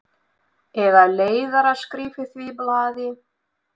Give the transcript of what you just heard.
Eða leiðaraskrif í því blaði?